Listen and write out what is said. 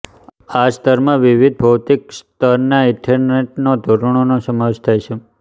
આ સ્તરમાં વિવિધ ભૌતિક સ્તર ના ઈથરનેટ ધોરણોનો સમાવેશ થાય છે